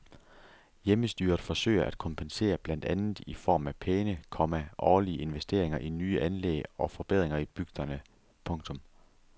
Hjemmestyret forsøger at kompensere blandt andet i form af pæne, komma årlige investeringer i nye anlæg og forbedringer i bygderne. punktum